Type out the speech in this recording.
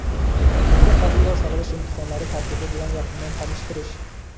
maktabga qabul va saralash imtihonlari tartibi bilan yaqindan tanishtirish.